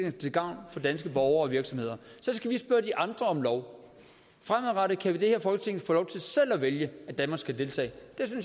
er til gavn for danske borgere og virksomheder så skal vi spørge de andre om lov fremadrettet kan vi i det her folketing få lov til selv at vælge at danmark skal deltage